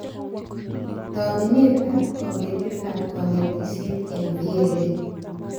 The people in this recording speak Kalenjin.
Tobenetab kabetetab konetishet eng VLE